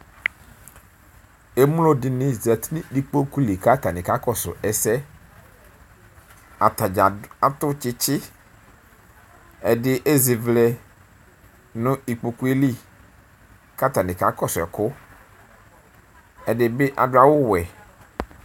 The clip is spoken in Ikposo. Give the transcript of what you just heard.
Emlo dɩnɩ zati nʋ ikpoku li kʋ atanɩ kakɔsʋ ɛsɛ Ata dza atʋ tsɩtsɩ Ɛdɩ ezivlɛ nʋ ikpoku yɛ li kʋ atanɩ kakɔsʋ ɛkʋ Ɛdɩ bɩ adʋ awʋwɛ